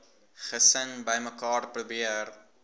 gesin bymekaar probeer